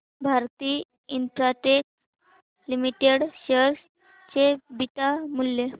Bharti Infratel limited share चे beta मूल्य